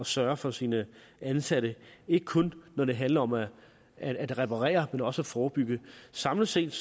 sørge for sine ansatte ikke kun når det handler om at at reparere men også forebygge samlet set